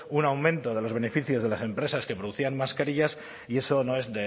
un aumento de los beneficios de las empresas que producían mascarillas y eso no es